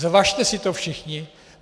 Zvažte si to všichni.